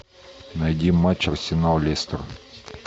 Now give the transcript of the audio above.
найди матч арсенал лестер